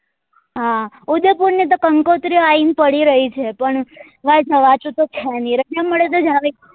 હા ઉદયપુર ની તો કંકોતરીઓ આવી ને પડી રહી છે પણ માર જવાતું તો છે નહી રજા મળે તો જાવે